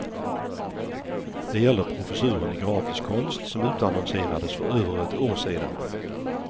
Det gäller professuren i grafisk konst som utannonserades för över ett år sedan.